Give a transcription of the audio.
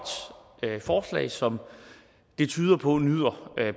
forslag som det tyder på nyder